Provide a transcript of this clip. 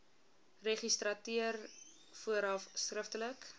registrateur vooraf skriftelik